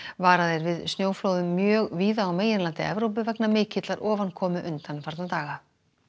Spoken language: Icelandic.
varað er við snjóflóðum mjög víða á meginlandi Evrópu vegna mikillar ofankomu undanfarna daga